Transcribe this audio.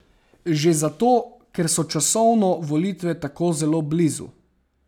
Že zato, ker so časovno volitve tako zelo blizu.